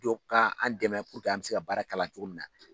Dɔ ka an dɛmɛ an bɛ se ka baara k'a la cogo min na